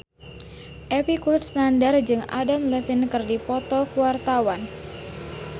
Epy Kusnandar jeung Adam Levine keur dipoto ku wartawan